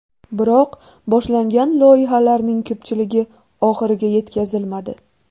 Biroq boshlangan loyihalarning ko‘pchiligi oxiriga yetkazilmadi.